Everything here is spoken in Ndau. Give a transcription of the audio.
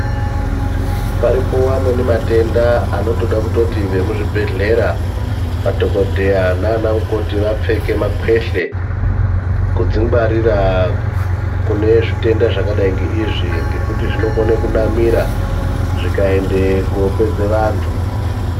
Paripo amweni matenda anotoda kutoti vemuzvibhedhleya, madhokodheya nanamukoti vapfeke makwehle kudzingwarira kune zvitenda zvakadai ngeizvi, ngekuti zvinokone kunamira zvikaende kopedze vantu.